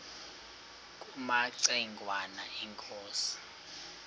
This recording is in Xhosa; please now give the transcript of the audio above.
kumaci ngwana inkosi